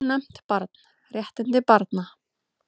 Ónefnt barn: Réttindi barna.